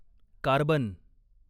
carbon